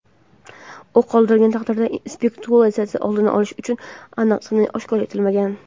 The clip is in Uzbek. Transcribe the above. u qoldirilgan taqdirda spekulyatsiyani oldini olish uchun aniq sana oshkor etilmagan.